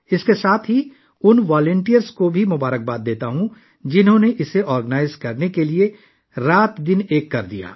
اس کے ساتھ میں ان رضاکاروں کو بھی مبارکباد پیش کرتا ہوں، جنہوں نے اس کو منظم کرنے کے لیے دن رات کام کیا